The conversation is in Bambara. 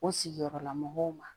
O sigiyɔrɔla mɔgɔw ma